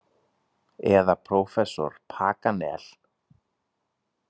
Eða prófessor Paganel.